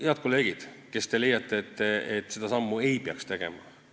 Head kolleegid, kes te leiate, et seda sammu ei peaks tegema!